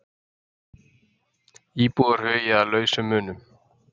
Íbúar hugi að lausum munum